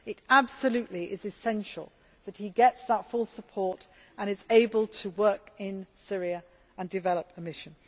It is absolutely essential that he gets that full support and is able to work in Syria and develop the mission.